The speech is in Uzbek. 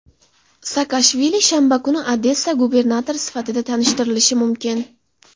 Saakashvili shanba kuni Odessa gubernatori sifatida tanishtirilishi mumkin.